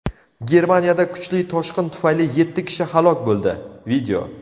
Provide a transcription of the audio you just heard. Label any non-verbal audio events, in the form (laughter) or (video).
Germaniyada kuchli toshqin tufayli yetti kishi halok bo‘ldi. (video)